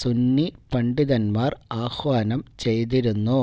സുന്നി പണ്ഡിതന്മാര് ആഹ്വാനം ചെയ്തിരുന്നു